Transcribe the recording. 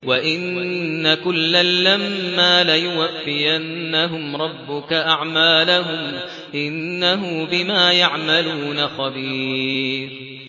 وَإِنَّ كُلًّا لَّمَّا لَيُوَفِّيَنَّهُمْ رَبُّكَ أَعْمَالَهُمْ ۚ إِنَّهُ بِمَا يَعْمَلُونَ خَبِيرٌ